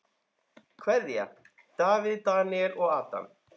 Kveðja: Davíð, Daníel og Adam.